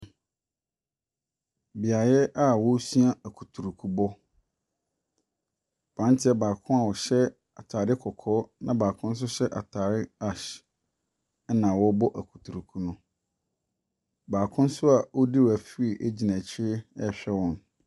Beaɛ bi a wɔresua akotrukubɔ, abranteɛ baako hyɛ kɔkɔɔ na baako nso hyɛ ataade na wɔrebɔ akutruku no. Baako nso a ɔredi refree gyina akyi rehwɛ wɔn.